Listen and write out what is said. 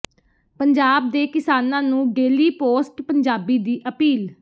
ਪੰਜਾਬ ਦੇ ਕਿਸਾਨਾਂ ਨੂੰ ਡੇਲੀ ਪੋਸਟ ਪੰਜਾਬੀ ਦੀ ਅਪੀਲ